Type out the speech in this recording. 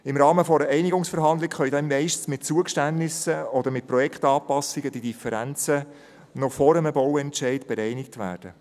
Im Rahmen einer Einigungsverhandlung können die Differenzen meistens mit Zugeständnissen oder mit Projektanpassungen noch vor einem Bauentscheid bereinigt werden.